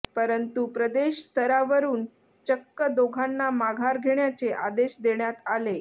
परंतू प्रदेश स्तरावरून चक्क दोघांना माघार घेण्याचे आदेश देण्यात आले